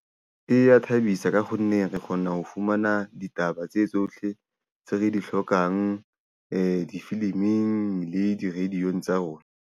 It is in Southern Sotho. E ya thabisa, ka kgonneng re kgona ho fumana ditaba tse tsohle tse re di hlokang difiliming le di radio-ng tsa rona.